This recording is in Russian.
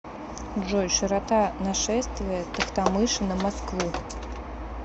джой широта нашествие тохтамыша на москву